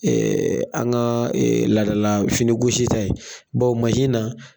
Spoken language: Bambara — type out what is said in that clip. an kaa laadala finigosi ta in bawo masi na